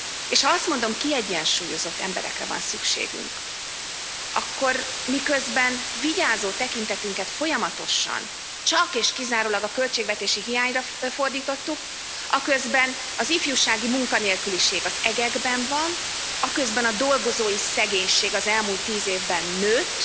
És ha azt mondom, kiegyensúlyozott emberekre van szükségünk, akkor miközben vigyázó tekintetünket folyamatosan csak és kizárólag a költségvetési hiányra fordítottuk, aközben az ifjúsági munkanélküliség az egekben van, aközben a dolgozói szegénység az elmúlt tíz évben nőtt,